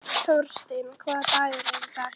Þorsteina, hvaða dagur er í dag?